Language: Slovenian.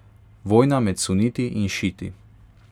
Vojna med suniti in šiiti.